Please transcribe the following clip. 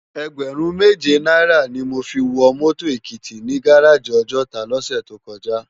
Ègbèrún méjé náirâ ni mó fi wò mòtó Ekiti ni gáráji Òjòtá lòsè tókòjá